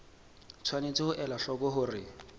tshwanetse ho ela hloko hore